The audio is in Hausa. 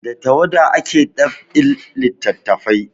Da tawada ake dab'in littafai